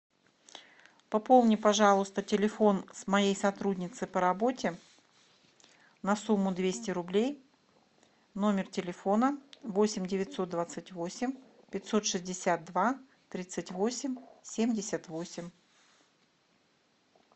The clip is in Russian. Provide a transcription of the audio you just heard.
пополни пожалуйста телефон с моей сотрудницы по работе на сумму двести рублей номер телефона восемь девятьсот двадцать восемь пятьсот шестьдесят два тридцать восемь семьдесят восемь